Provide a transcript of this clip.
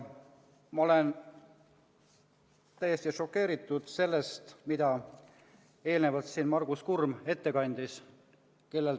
Ma olen täiesti šokeeritud sellest, mida Margus Kurm siin ette kandis.